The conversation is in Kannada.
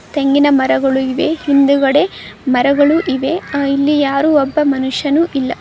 ತೆಂಗಿನ ಮರಗಳು ಇವೆ ಹಿಂದೆಗಡೆ ಮರಗಳು ಇವೆ ಆ ಇಲ್ಲಿ ಯಾರು ಒಬ್ಬ ಮನುಷ್ಯನು ಇಲ್ಲ.